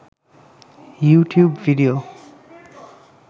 YouTube video